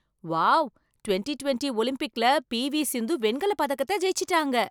Wow! Twenty twenty ஒலிம்பிக்ல P V. Sindhu வெண்கல பதக்கத்த ஜெயிச்சிட்டாங்க.